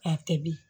A tɛ bi